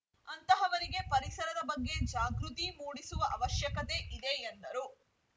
ಅಂತಹವರಿಗೆ ಪರಿಸದ ಬಗ್ಗೆ ಜಾಗೃತಿ ಮೂಡಿಸುವ ಅವಶ್ಯಕತೆ ಇದೆ ಎಂದರು